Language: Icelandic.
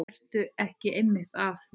Ertu ekki einmitt að því?